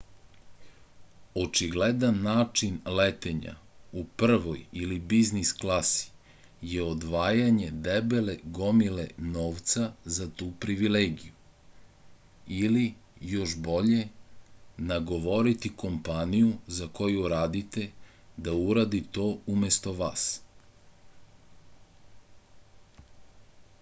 очигледан начин летења у првој или бизнис класи је одвајање дебеле гомиле новца за ту привилегију или још боље наговорити компанију за коју радите да уради то уместо вас